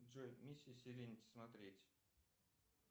джой миссия серенити смотреть